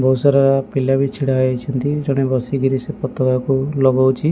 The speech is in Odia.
ବହୁତ ସାରା ପିଲା ବି ଛିଡ଼ା ହେଇଛନ୍ତି ଜଣେ ବସିକିରି ସେ ପତକା କୁ ଲଗଉଛି।